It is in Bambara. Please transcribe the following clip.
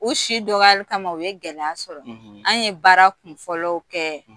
U si dɔgɔyali kama u ye gɛlɛya sɔrɔ an ye baara kunfɔlɔw kɛ